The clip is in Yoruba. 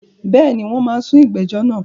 Bẹ́ẹ̀ni, wọ́n máa sún ìgbẹ́jọ́ náà.